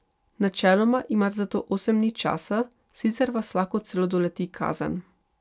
Načeloma imate za to osem dni časa, sicer vas lahko celo doleti kazen.